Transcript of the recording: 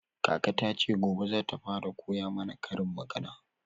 Kaka ta ce gobe zata fara koya mana karin magana